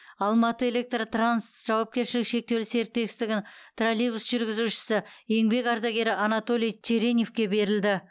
алматыэлектротранс жауапкершілігі шектеулі серіктестігін троллейбус жүргізушісі еңбек ардагері анатолий череневке берілді